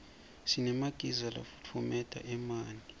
sinemagiza lafutfumeta emanti